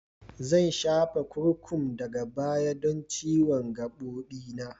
Zan shafa kurkum daga baya don ciwon gabobi na.